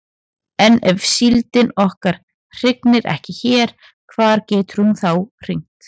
En ef síldin okkar hrygnir ekki hér hvar getur hún þá hrygnt?